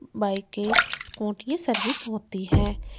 Bike के Scooty की service होती है।